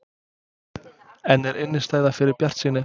En er innistæða fyrir bjartsýni?